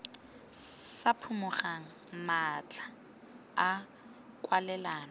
sa phimogeng matlha a kwalelano